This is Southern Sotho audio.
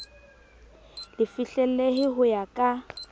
le fihlellehe ho ya ka